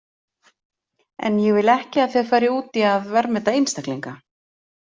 En ég vil ekki að þið farið út í að verðmeta einstaklinga.